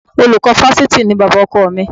Olùkọ́ Fáṣítì ni bàbá ọkọ mi